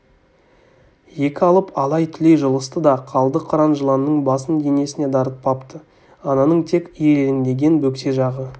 екі алып алай-түлей жұлысты да қалды қыран жыланның басын денесіне дарытпапты ананың тек ирелеңдеген бөксе жағы